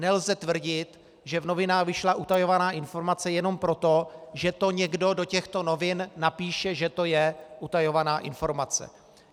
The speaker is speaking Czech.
Nelze tvrdit, že v novinách vyšla utajovaná informace, jenom proto, že to někdo do těchto novin napíše, že to je utajovaná informace.